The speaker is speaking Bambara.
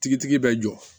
Tigitigi bɛ jɔ